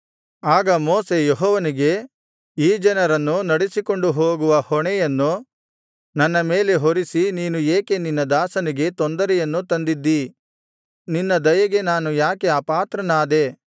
ಆಗ ಮೋಶೆ ಯೆಹೋವನಿಗೆ ಈ ಜನರನ್ನು ನಡೆಸಿಕೊಂಡು ಹೋಗುವ ಹೊಣೆಯನ್ನು ನನ್ನ ಮೇಲೆ ಹೊರಿಸಿ ನೀನು ಏಕೆ ನಿನ್ನ ದಾಸನಿಗೆ ತೊಂದರೆಯನ್ನು ತಂದಿದ್ದೀ ನಿನ್ನ ದಯೆಗೆ ನಾನು ಯಾಕೆ ಅಪಾತ್ರನಾದೆ